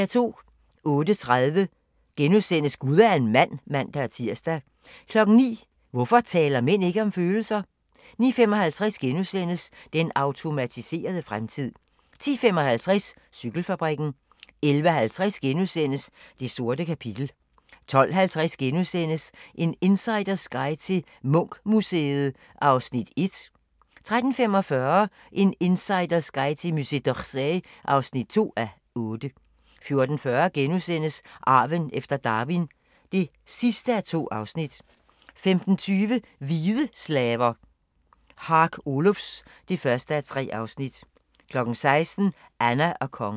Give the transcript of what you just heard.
08:30: Gud er en mand *(man-tir) 09:00: Hvorfor taler mænd ikke om følelser? 09:55: Den automatiserede fremtid * 10:55: Cykelfabrikken 11:50: Det sorte kapitel * 12:50: En insiders guide til Munch-museet (1:8)* 13:45: En insiders guide til Musée d'Orsay (2:8) 14:40: Arven efter Darwin (2:2)* 15:20: Hvide slaver – Hark Olufs (1:3) 16:00: Anna og Kongen